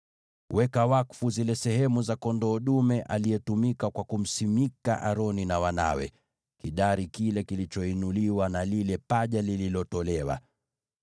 “Weka wakfu zile sehemu za kondoo dume aliyetumika kwa kumweka wakfu Aroni na wanawe: kidari kile kilichoinuliwa na lile paja lililotolewa.